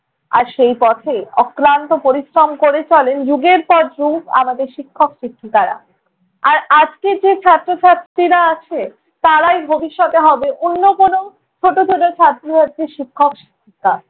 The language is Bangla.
আর সেই পথে অক্লান্ত পরিশ্রম করে চলেন যুগের পর যুগ আমাদের শিক্ষক শিক্ষিকারা। আর আজকে যেই ছাত্র-ছাত্রীরা আছে তারাই ভবিষ্যতে হবে অন্য কোনো ছোটো ছোটো ছাত্র-ছাত্রীর শিক্ষক শিক্ষিকা।